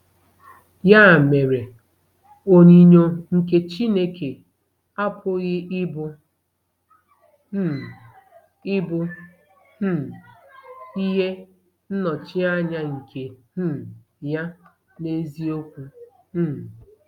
Ya mere, onyinyo nke Chineke apụghị ịbụ um ịbụ um ihe nnọchianya nke um ya n'eziokwu um